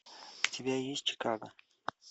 у тебя есть чикаго